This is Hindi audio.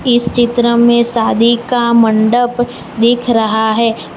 इस चित्र में शादी का मंडप दिख रहा है।